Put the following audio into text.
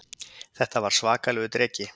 Þetta var svakalegur dreki